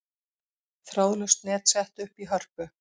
Þráðlaust net sett upp í Hörpu